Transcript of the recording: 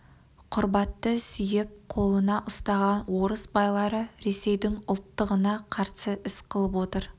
құрбатты сүйеп қолына ұстаған орыс байлары ресейдің ұлттығына қарсы іс қылып отыр